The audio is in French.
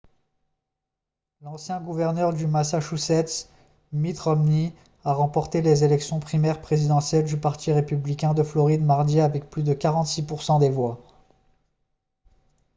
l'ancien gouverneur du massachusetts mitt romney a remporté les élections primaires présidentielles du parti républicain de floride mardi avec plus de 46 % des voix